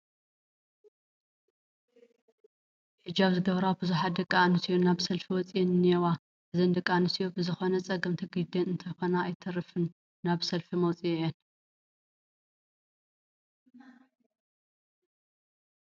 ሕጃብ ዝገበራ ብዙሓት ደቂ ኣንስትዮ ናብ ሰልፊ ወፂአን እኔዋ፡፡ እዘን ደቂ ኣንስትዮ ብዝኾነ ፀገም ተገዲደን እንተይኮና ኣይተርፍን ናብ ሰልፊ ወፂአን፡፡